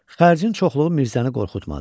Xərcin çoxluğu Mirzəni qorxutmadı.